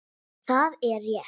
Það er rétt.